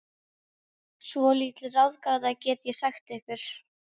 Svolítil ráðgáta, get ég sagt ykkur.